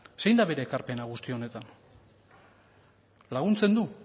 zein da bere ekarpena guzti honetan laguntzen du